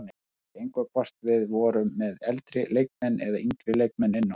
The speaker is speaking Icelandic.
Það skipti engu hvort við vorum með eldri leikmenn eða yngri leikmenn inn á.